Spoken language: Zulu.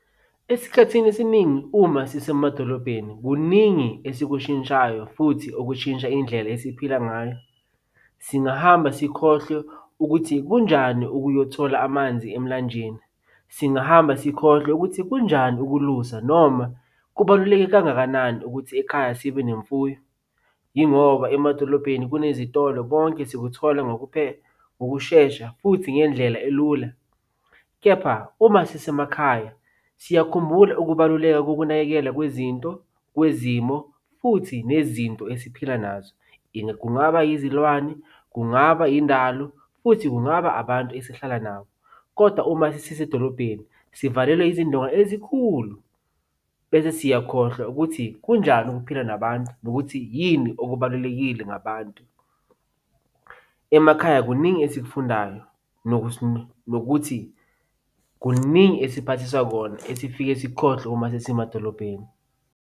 Esikhathini esiningi uma sisemadolobheni, kuningi esikushintshayo futhi okushintsha indlela esiphila ngayo. Singahamba sikhohlwe ukuthi kunjani ukuyothola amanzi emlanjeni. Singahamba sikhohlwe ukuthi kunjani ukulusa noma kubaluleke kangakanani ukuthi ekhaya sibe nemfuyo. Yingoba emadolobheni kunezitolo konke sikuthola ngokushesha futhi ngendlela elula, kepha uma sisemakhaya, siyakhumbula ukubaluleka kokunakekela kwezinto kwezimo, futhi nezinto esiphila nazo. Kungaba izilwane, kungaba indalo, futhi kungaba abantu esihlala nabo, kodwa uma sesisedolobheni sivalelwe izindonga ezikhulu bese siyakhohlwa ukuthi kunjani ukuphila nabantu nokuthi yini okubalulekile ngabantu. Emakhaya kuningi esikufundayo nokuthi kuningi esiphathiswa kona esifike sikukhohlwe uma sesisemadolobheni.